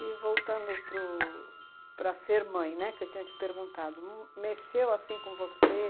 E voltando pro para ser mãe, né, que eu tinha te perguntado, mexeu assim com você?